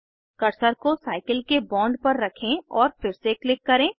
cursor को cycle के bond पर रखें और फिर से क्लिक करें